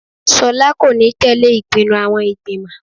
Sola kò ní tẹ̀lẹ́ ìpinnu àwọn ìgbìmọ̀.